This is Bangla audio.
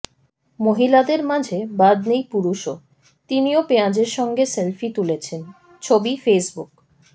মহিলাদের মাঝে বাদ নেই পুরুষও তিনিও পেঁয়াজের সঙ্গে সেলফি তুলেছেন ছবি ফেসবুক